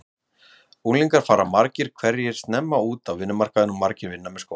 Unglingar fara margir hverjir snemma út á vinnumarkaðinn og margir vinna með skóla.